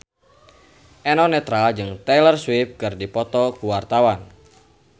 Eno Netral jeung Taylor Swift keur dipoto ku wartawan